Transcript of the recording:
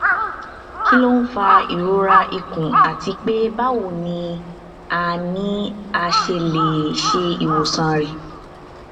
kí ló ń fa ìrora ikùn àti pé báwo ni a ni a ṣe lè ṣe ìwòsàn rẹ